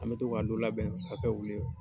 An bɛ to ka labɛn ka kɛ olu ye.